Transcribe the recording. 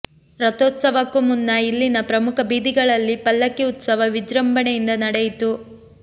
ರಥೋತ್ಸವಕ್ಕೂ ಮುನ್ನ ಇಲ್ಲಿನ ಪ್ರಮುಖ ಬೀದಿಗಳಲ್ಲಿ ಪಲ್ಲಕ್ಕಿ ಉತ್ಸವ ವಿಜೃಂಭಣೆಯಿಂದ ನಡೆಯಿತು